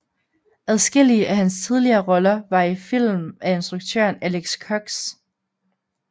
Adskillige af hans tidligere roller var i film af instruktøren Alex Cox